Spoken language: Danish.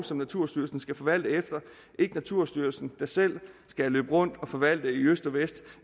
som naturstyrelsen skal forvalte efter og ikke naturstyrelsen der selv skal løbe rundt og forvalte i øst og vest